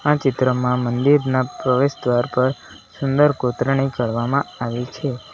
આ ચિત્રમાં મંદિરના પ્રવેશ દ્વાર પર સુંદર કોત્રણી કરવામાં આવી છે.